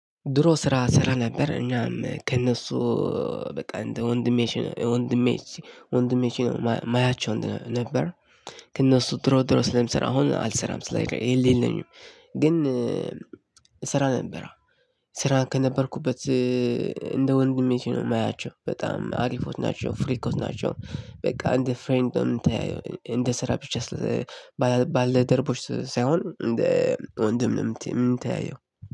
ድሮ ስራ እሰራ ነበር እናም ከእነሱ በቃ እንደ ወንድሞቼ ማያቸው ነበር። ከእነሱ ድሮ ድሮ ስለምሰራ አሁን አልሰራም ስላይል የሌለኝም። ግን ስራ ነበረ። ስራ ከነበርኩበት እንደ ወንድሜ ነው የማያቸው በጣም አሪፎት ናቸው ፍሪኮች ናቸው። በቃ እንደ ፍሬንድ ነው ወየምንተያየው እንደ ስራ ብቻ። ባልደረቦች ሳይሆን እንደ ወንድም ነው። የምታየው